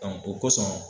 o kosɔn